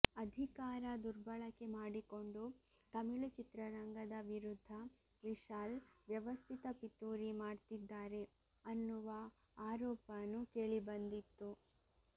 ಅಧಿಕಾರ ದುರ್ಬಳಕೆ ಮಾಡಿಕೊಂಡು ತಮಿಳು ಚಿತ್ರರಂಗದ ವಿರುದ್ಧ ವಿಶಾಲ್ ವ್ಯವಸ್ಥಿತ ಪಿತೂರಿ ಮಾಡ್ತಿದ್ದಾರೆ ಅನ್ನುವ ಆರೋಪನೂ ಕೇಳಿ ಬಂದಿತ್ತು